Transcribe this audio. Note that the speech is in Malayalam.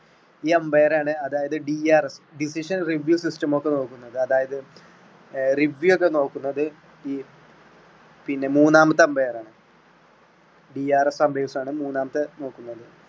ഈ umpire ആണ് അതായത് DRS അതായത് decision review system ഒക്കെ നോക്കുന്നത് അതായത് അഹ് review ഒക്കെ നോക്കുന്നത് ഈ പിന്നെ മൂന്നാമത്തെ umpire ആണ്. DRS മൂന്നാമത്തെ നോക്കുന്നത്.